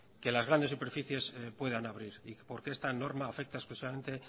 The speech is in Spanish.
que las grandessuperficies puedan abrir y por qué esta norma afecta expresamente